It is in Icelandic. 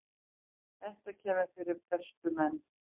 Þetta kemur fyrir bestu menn.